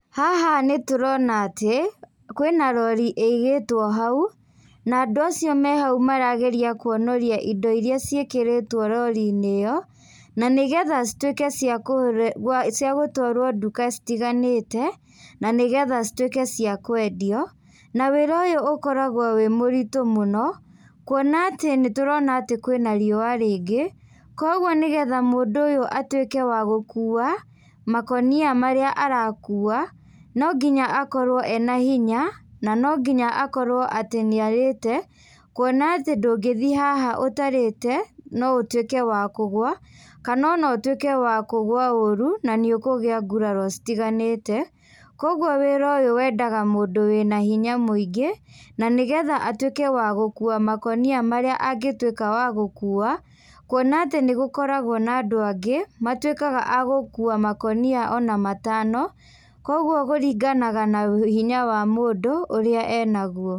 Haha nĩtũrona atĩ, kwĩna rori ĩigĩtwo hau, na andũ acio me hau marageria kuonoria indo iria ciĩkĩrĩtwo roriinĩ ĩyo, na nĩgetha cituĩke cia cia gũtwarwo ndũka citiganĩte, na nĩgetha cituĩke cia kwendio, na wĩra ũyũ ũkoragwo wĩ mũritũ mũno, kuona atĩ nĩtũrona atĩ kwĩna riua rĩingĩ, koguo nĩgetha mũndũ ũyũ atuĩke wa gũkua makonia marĩa arakua, no nginya akorwo ena hinya, na no nginya akorwo atĩ nĩarĩte, kuona atĩ ndũngĩthiĩ haha ũtarĩte, no ũtuĩke wa kũgua, kana ona ũtuĩke wa kũgwa ũru, na nĩũkũgĩa nguraro citiganĩte, koguo wĩra ũyũ wendaga mũndũ wĩna hinya mũingĩ, na nĩgetha atuĩke wa gũkua makonia marĩa angĩtuĩka wa gũkua, kuona atĩ nĩgũkoragwo na andũ angĩ, matuĩkaga a gũkua makonia ona matano, koguo kũringanaga na hinya wa mũndũ ũrĩa enaguo.